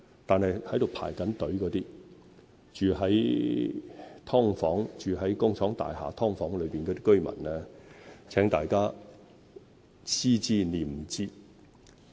但是，對於那些正在輪候"上樓"、住在"劏房"或工廠大廈"劏房"的居民，請大家思之念之。